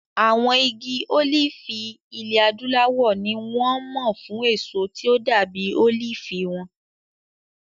Àwọn igi olifi ilẹ̀ Adúláwọ̀ ni wọ́n mọ̀ fún èso tí ó dàbí olifi wọn.